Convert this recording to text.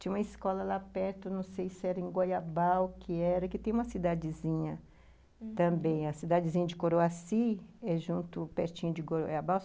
Tinha uma escola lá perto, não sei se era em Goiabal que era, que tem uma cidadezinha, uhum, também, a cidadezinha de Coroaci, pertinho de Goiabal.